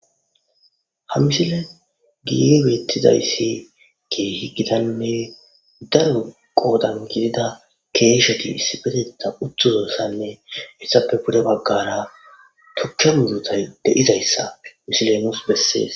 Ha misile gi weettizayssi keehi gidanne dayu qoodan gidida keesheti issibeteta uttzu zoossanne hessappe bude baggara tucka mudutay de'izayssa misilenos bessees